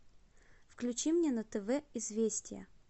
включи мне на тв известия